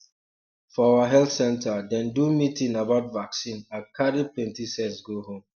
for our health center dem do meeting about vaccine i carry plenty sense go house